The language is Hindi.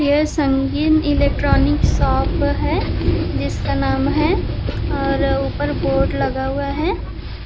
यह संगीन इलेक्ट्रॉनिक शॉप है जिसका नाम है और ऊपर बोर्ड लगा हुआ है